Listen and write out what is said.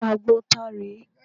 Àgbọn ta rè é?